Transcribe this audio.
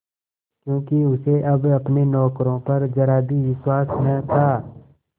क्योंकि उसे अब अपने नौकरों पर जरा भी विश्वास न था